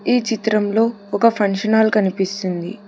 ఈ చిత్రం లో ఒక ఫంక్షన్ హాల్ కనిపిస్తుంది.